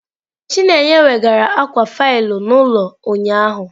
Chineye weghaara akwa faịlụ n'ụlọ ụnyahụ